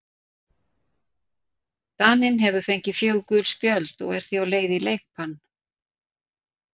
Daninn hefur fengið fjögur gul spjöld og er því á leið í leikbann.